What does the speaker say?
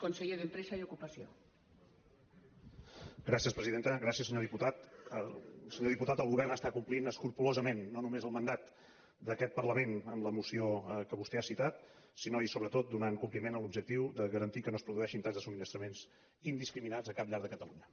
senyor diputat el govern està complint escrupolosament no només el mandat d’aquest parlament en la moció que vostè ha citat sinó i sobretot donant compliment a l’objectiu de garantir que no es produeixin talls de subministraments indiscriminats a cap llar de catalunya